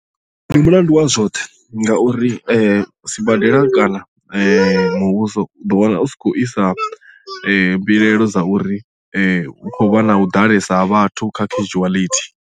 Ndi mulandu wa zwoṱhe ngauri sibadela kana muvhuso u ḓo wana u tshi khou isa mbilaelo dza uri hu khou vha na u ḓalesa ha vhathu kha kheshuwaḽithi.